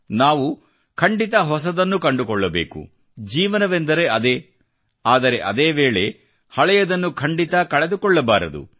ನಾವು ಹೊಸದನ್ನು ಕಂಡುಕೊಳ್ಳಬೇಕು ಜೀವನವೆಂದರೆ ಅದೇ ಆದರೆ ಅದೇ ವೇಳೆ ಹಳೆಯದನ್ನು ಖಂಡಿತಾ ಕಳೆದುಕೊಳ್ಳಬಾರದು